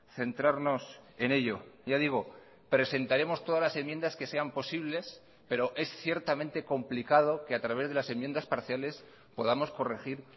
centrarnos en ello ya digo presentaremos todas las enmiendas que sean posibles pero es ciertamente complicado que a través de las enmiendas parciales podamos corregir